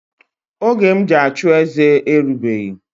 Oge m ji achụeze erigbeghi